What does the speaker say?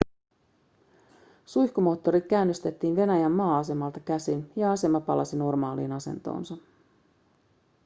suihkumoottorit käynnistettiin venäjän maa-asemalta käsin ja asema palasi normaaliin asentoonsa